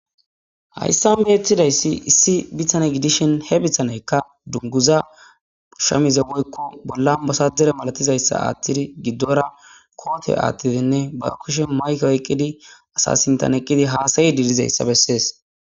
Hayssan be ethidayssi issi bithane gidishen he bithaneykka dunguza shamize woykko bolla basadere malatizayssa aathtidi giddora koote aathtidinne ba kushe mayke oyqqidi asasintan eqqidi haasayi diilizayssa bessees.